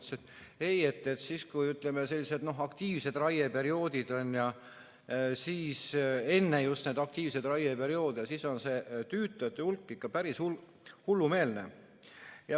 Ta ütles, et ei, siis, kui, ütleme, sellised aktiivsed raieperioodid on, just enne neid aktiivseid raieperioode on see tüütajate hulk ikka päris hullumeelne.